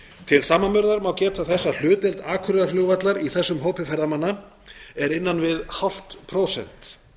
til samanburðar má geta þess að hlutdeild akureyrarflugvallar í þessum hópi ferðamanna er innan við hálft prósent